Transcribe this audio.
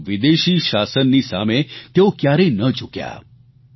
પરંતુ વિદેશી શાસનની સામે તેઓ કયારેય ન ઝૂક્યા